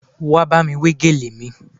Wá bámi wé gèlè mi